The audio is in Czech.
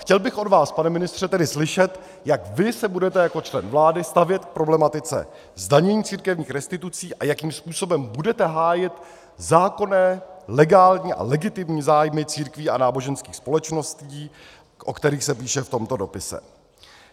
Chtěl bych od vás, pane ministře, tedy slyšet, jak vy se budete jako člen vlády stavět k problematice zdanění církevních restitucí a jakým způsobem budete hájit zákonné legální a legitimní zájmy církví a náboženských společností, o kterých se píše v tomto dopise.